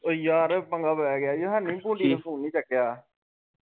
ਓ ਯਾਰ ਪੰਗਾ ਪੈਗਿਆ ਈ ਹੈਨੀ ਭੋਲੀ ਨੇ ਫੋਨ ਨਹੀ ਚੱਕਿਆ।